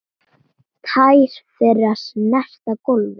Tær þeirra snerta gólfið.